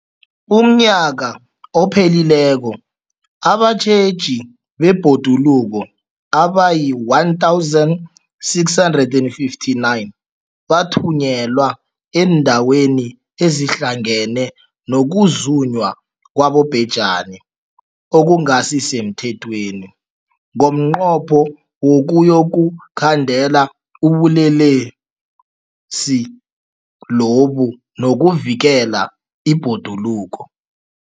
UmNnyaka ophelileko abatjheji bebhoduluko abayi-1 659 bathunyelwa eendaweni ezidlange ngokuzunywa kwabobhejani okungasi semthethweni ngomnqopho wokuyokukhandela ubulelesobu nokuvikela ibhoduluko.